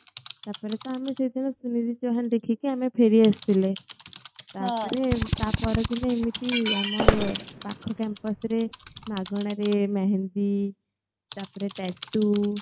ତାପରେ ତ ଆମେ ସେ ଦିନ ସୁନିଧି ଚୌହାନ୍ ଦେଖିକି ଆମେ ଫେରି ଆସିଥିଲେ ତାପରେ ତା ପର ଦିନେ ଏମିତି ଆମର୍ ପାଖ campus ରେ ମାଗଣା ରେ mehndi ତାପରେ tattoo